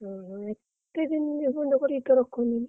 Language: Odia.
ଓହୋ ଏତେ ଦିନ ନିର୍ବନ୍ଧ କରିକି ତ ରଖନ୍ତିନି।